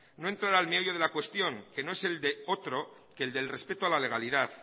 no entrar al meollo de la cuestión que no es el de otro que el del respeto a la legalidad